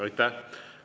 Aitäh!